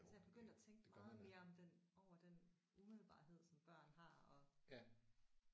Altså jeg er begyndt at tænke meget mere om den over den umiddelbarhed som børn har og